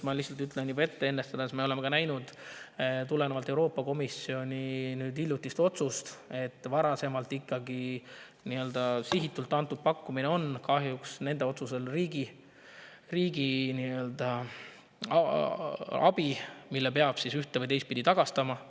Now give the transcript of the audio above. Ma ütlen juba ette, et me oleme näinud Euroopa Komisjoni hiljutist otsust, et varasem sihitud pakkumine on nende otsusel kahjuks riigiabi, mille peab ühte- või teistpidi tagastama.